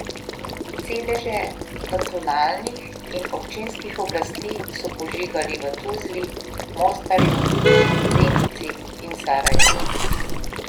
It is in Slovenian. Sedeže kantonalnih in občinskih oblasti so požigali v Tuzli, Mostarju, Zenici in Sarajevu.